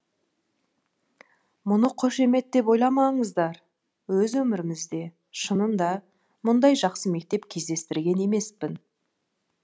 мұны қошемет деп ойламаңыздар өз өмірімізде шынында мұндай жақсы мектеп кездестірген емеспін